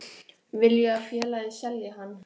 Vil ég að félagið selji hann?